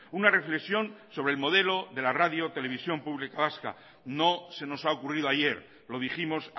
una reflexión sobre el modelo de la radio televisión pública vasca no se nos ha ocurrido ayer lo dijimos